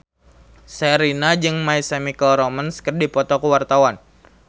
Sherina jeung My Chemical Romance keur dipoto ku wartawan